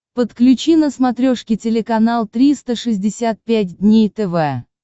подключи на смотрешке телеканал триста шестьдесят пять дней тв